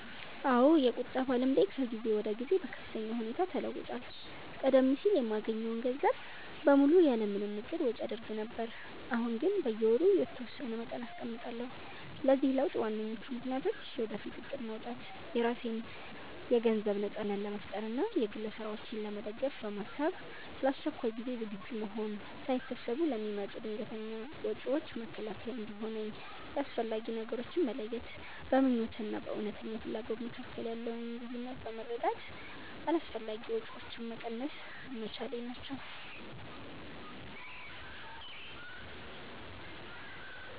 አዎ፣ የቁጠባ ልምዴ ከጊዜ ወደ ጊዜ በከፍተኛ ሁኔታ ተለውጧል። ቀደም ሲል የማገኘውን ገንዘብ በሙሉ ያለ ምንም እቅድ ወጪ አደርግ ነበር፤ አሁን ግን በየወሩ የተወሰነ መጠን አስቀምጣለሁ። ለዚህ ለውጥ ዋነኞቹ ምክንያቶች፦ የወደፊት እቅድ ማውጣት፦ የራሴን የገንዘብ ነጻነት ለመፍጠር እና የግል ስራዎቼን ለመደገፍ በማሰብ፣ ለአስቸኳይ ጊዜ ዝግጁ መሆን፦ ሳይታሰቡ ለሚመጡ ድንገተኛ ወጪዎች መከላከያ እንዲሆነኝ፣ የአስፈላጊ ነገሮች መለየት፦ በምኞት እና በእውነተኛ ፍላጎት መካከል ያለውን ልዩነት በመረዳት አላስፈላጊ ወጪዎችን መቀነስ መቻሌ ናቸው።